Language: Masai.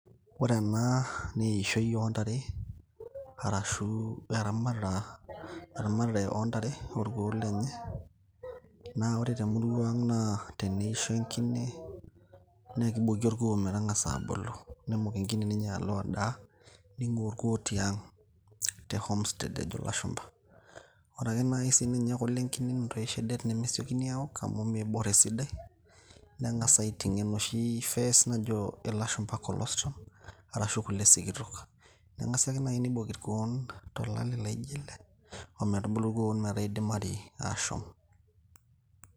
ore ena naa eishoi oontare arashu eramatare oontare olkuok lenye ,naa ore temurua ang naa teneisho enkine naakiboki orkuo metang'asa abulu nelo ninye enkine adaa ning'ua orkuo tiang' ashu te home state enaa enajo ilashumba, ore sininye kule enkine nemesiokini aok amu mbaka niboru esidai neng'as ating'ie enoshics] phasecs] najo ilashumba cholesterol milk arashu kule sikitok, neeku kisidai naaji tiniboki irkuok tolale laijo ele ometubulu.